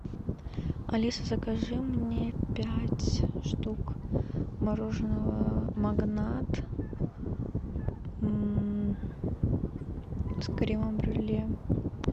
алиса закажи мне пять штук мороженого магнат с кремом брюле